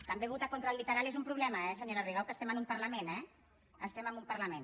també votar contra el literal és un problema eh senyora rigau que estem en un parlament estem en un parlament